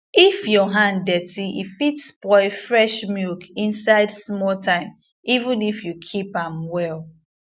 if your hand dirty e fit spoil fresh milk inside small time even if you keep am well